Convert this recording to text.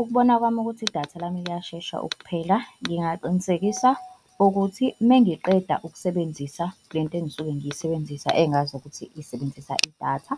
Ukubona kwami ukuthi idatha lami liyashesha ukuphela, ngingaqinisekisa ukuthi mengiqeda ukusebenzisa le nto engisuke ngiyisebenzisa engazi ukuthi isebenzisa idatha,